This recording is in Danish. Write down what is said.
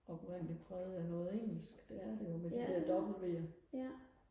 oprindeligt præget af noget engelsk det er det jo med de der dobbelt v'er